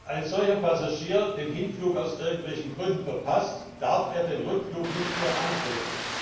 Wenn ein solcher Passagier den Hinflug aus irgendwelchen Gründen verpasst, darf er den Rückflug nicht mehr antreten.